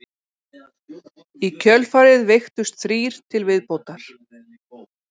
Í kjölfarið veiktust þrír til viðbótar